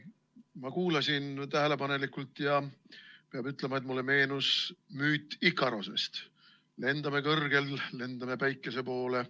Ma kuulasin tähelepanelikult ja peab ütlema, et mulle meenus müüt Ikarosest: lendame kõrgel, lendame päikese poole.